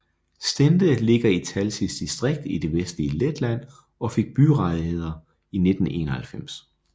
Stende ligger i Talsis distrikt i det vestlige Letland og fik byrettigheder i 1991